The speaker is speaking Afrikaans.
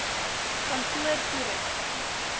kantoortoerusting